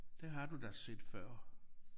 Det har du da set før